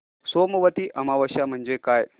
सोमवती अमावस्या म्हणजे काय